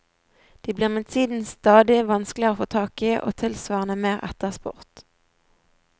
De blir med tiden stadig vanskeligere å få tak i og tilsvarende mer etterspurt.